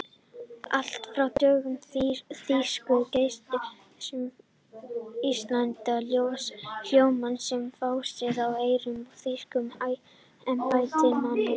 Allt frá dögum þýsku keisarastjórnarinnar höfðu sjálfstæðiskröfur Íslendinga hljómað sem fásinna í eyrum þýskra embættismanna.